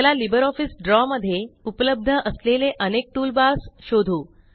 चला लिब्रिऑफिस द्रव मध्ये उपलब्ध असलेले अनेक टूलबार्स शोधू